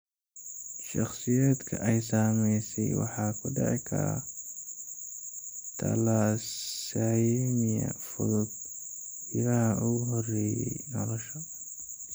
Shakhsiyaadka ay saameysay waxaa ku dhici kara thalassaemia fudud bilaha ugu horreeya nolosha.